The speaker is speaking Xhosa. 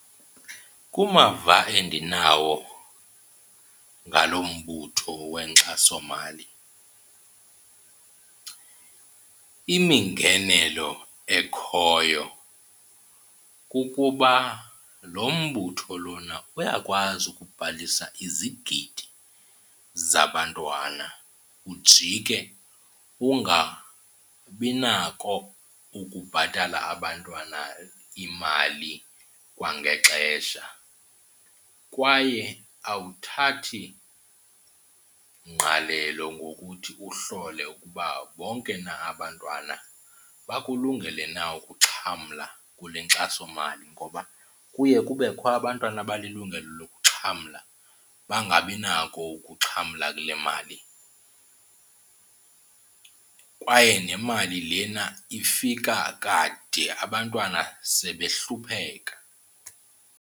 Kumava endinawo ngalo mbutho wenkxasomali, imingenelo ekhoyo kukuba lo mbutho lona uyakwazi ukubhalisa izigidi zabantwana ujike ungabinako ukubhatala abantwana imali kwangexesha. Kwaye awuthathi ngqalelo ngokuthi uhlole ukuba wonke na abantwana bakulungele na ukuxhamla kule nkxasomali. Ngoba kuye kubekho abantwana abanelungelo lokuxhamla bangabinako ukuxhamla kule mali kwaye nemali lena ifika kade abantwana sebehlupheka.